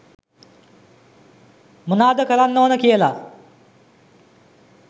මොනාද කරන්න ඕන කියලා